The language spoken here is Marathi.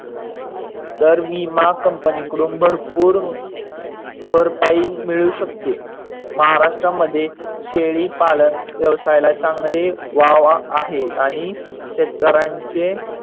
तर विमा कंपनी कडून भरपूर भरपाई मिडू शकते. महाराष्ट्रामध्ये शेळीपालन व्यवसायाला चांगले वाहवाह आहे आणि शेतकऱ्यांचे